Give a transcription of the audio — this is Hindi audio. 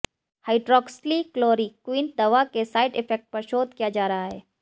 हाइड्रोक्सलीक्लोरीक्वीन दवा के साइड इफेक्ट पर शोध किया जा रहा है